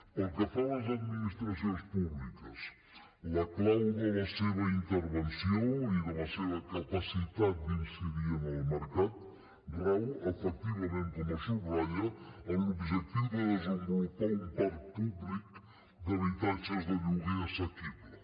pel que fa a les administracions públiques la clau de la seva intervenció i de la seva capacitat d’incidir en el mercat rau efectivament com es subratlla en l’objectiu de desenvolupar un parc públic d’habitatges de lloguer assequible